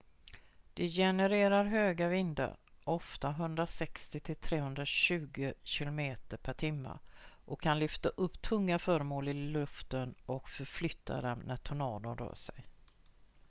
de genererar höga vindar ofta 160-320 km/h och kan lyfta upp tunga föremål i luften och förflytta dem när tornadon rör sig